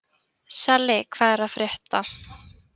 Salli, hvað er að frétta?